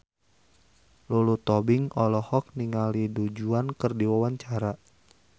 Lulu Tobing olohok ningali Du Juan keur diwawancara